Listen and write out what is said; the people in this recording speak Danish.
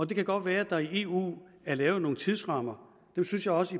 det kan godt være at der i eu er lavet nogle tidsrammer dem synes jeg også